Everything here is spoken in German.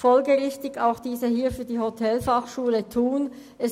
Folgerichtig lehnt sie auch jene bei der Hotelfachschule Thun ab.